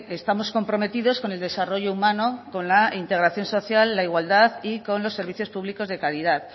estamos comprometidos con el desarrollo humano con la integración social la igualdad y con los servicios públicos de calidad